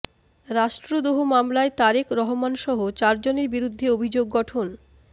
রাষ্ট্রদ্রোহ মামলায় তারেক রহমানসহ চার জনের বিরুদ্ধে অভিযোগ গঠন